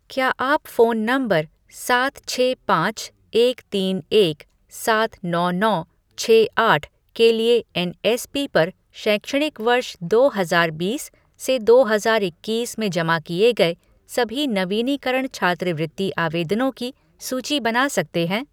क्या आप phone number सात छः पाँच एक तीन एक सात नौ नौ छः आठ के लिए एन.एस.पी. पर शैक्षणिक वर्ष दो हजार बीस से दो हजार इक्कीस में जमा किए गए सभी नवीनीकरण छात्रवृत्ति आवेदनों की सूची बना सकते हैं